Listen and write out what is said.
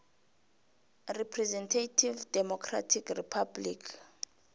representative democratic republic